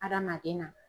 Adamaden na